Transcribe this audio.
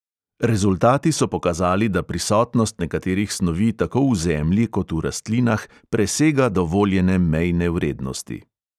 Rezultati so pokazali, da prisotnost nekaterih snovi tako v zemlji kot v rastlinah presega dovoljene mejne vrednosti.